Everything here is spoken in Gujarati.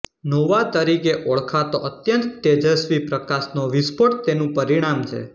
નોવા તરીકે ઓળખાતો અત્યંત તેજસ્વી પ્રકાશનો વિસ્ફોટ તેનું પરિણામ છે